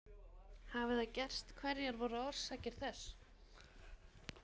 Hafi það gerst hverjar voru orsakir þess?